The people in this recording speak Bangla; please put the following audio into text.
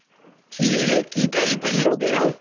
কী রে, কী type এর লোক এরা!